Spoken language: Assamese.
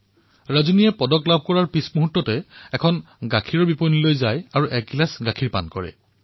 ৰজনীয়ে পদক জয় কৰাৰ লগে লগে গাখীৰৰ এক ষ্টলৰ কাষলৈ গৈ এগিলাচ গাখীৰ পান কৰিলে